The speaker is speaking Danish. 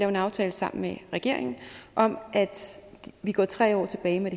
en aftale sammen med regeringen om at vi går tre år tilbage med